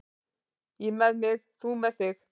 Ég með mig, þú með þig.